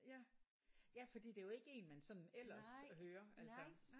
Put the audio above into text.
Ja. Ja fordi det er jo ikke en man sådan ellers hører altså